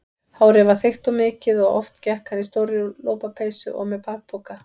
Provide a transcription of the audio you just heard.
Hárið var þykkt og mikið og oft gekk hann í stórri lopapeysu og með bakpoka.